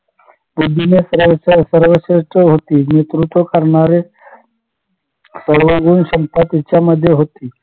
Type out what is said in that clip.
की नेतृत्व करणारे सर्वगुण तिच्यामध्ये होती